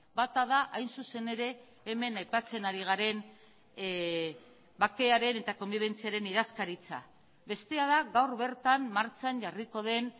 bata da hain zuzen ere hemen aipatzen ari garen bakearen eta konbibentziaren idazkaritza bestea da gaur bertan martxan jarriko den